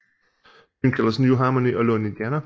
Byen kaldtes New Harmony og lå i Indiana